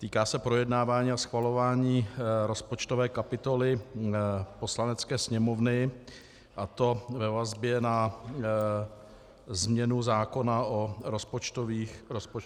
Týká se projednávání a schvalování rozpočtové kapitoly Poslanecké sněmovny, a to ve vazbě na změnu zákona o rozpočtových pravidlech.